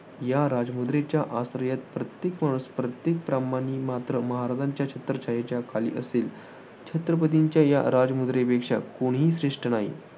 आश्रयात प्रत्येक माणूस, प्रत्येक प्राणिमात्र महाराजांच्या छत्रछायेखाली असेल. छत्रपतींच्या या राजमुद्रेपेक्षा कोणीही श्रेष्ठ नाही.